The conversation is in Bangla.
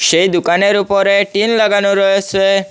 সেই দুকানের উপরে টিন লাগানো রয়েছে।